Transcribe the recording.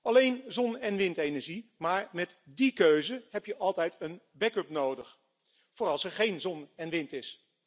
Alleen zonne en windenergie, maar met die keuze heb je altijd een back up nodig, voor als er geen zon en wind is.